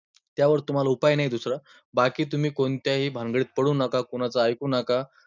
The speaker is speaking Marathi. त्यावर तुम्हाला उपाय नाही दुसरा, बाकी तुम्ही कोणत्याही भानगडीत पडू नका, कुणाचं ऐकू नका.